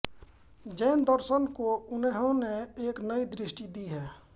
जैन दर्शन को उन्होंने एक नई दृष्टि दी है